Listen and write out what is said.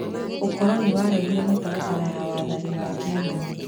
ũkoroni warehire mĩtaratara ya wathani wa kĩgeni.